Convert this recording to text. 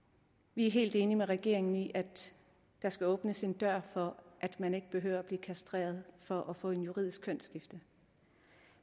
vi er helt enige med regeringen i at der skal åbnes en dør for at man ikke behøver at blive kastreret for at få et juridisk kønsskifte